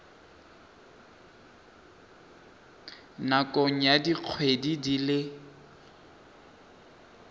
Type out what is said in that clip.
nakong ya dikgwedi di le